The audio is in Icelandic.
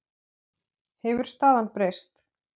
Hefur staðan breyst?